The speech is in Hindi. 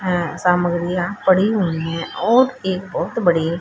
हैं सामग्रियां पड़ी हुई हैं और एक बहुत बड़ी--